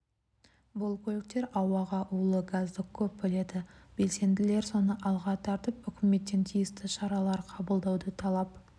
бұл көліктер ауаға улы газды көп бөледі белсенділер соны алға тартып үкіметтен тиісті шаралар қабылдауды талап